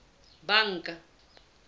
banka